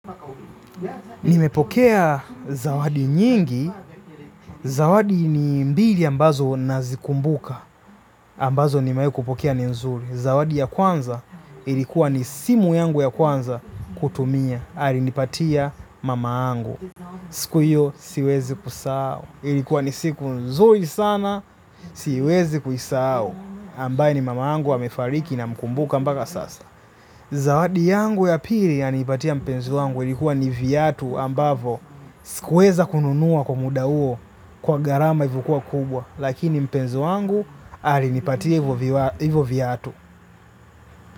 Nimepokea zawadi nyingi, zawadi ni mbili ambazo nazikumbuka, ambazo nimewahi kupokea ni nzuri. Zawadi ya kwanza ilikuwa ni simu yangu ya kwanza kutumia, alinipatia mama yangu. Siku hiyo siwezi kusahau, ilikuwa ni siku nzuri sana, siwezi kuisahu, ambaye ni mama yangu amefariki namkumbuka mpaka sasa. Zawadi yangu ya pili alinipatia mpenzi wangu ilikuwa ni viatu ambavyo sikuweza kununua kwa muda huo kwa gharama ilivyokuwa kubwa lakini mpenzi wangu alinipatia hivyo viatu.